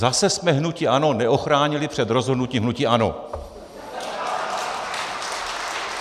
Zase jsme hnutí ANO neochránili před rozhodnutím hnutí ANO!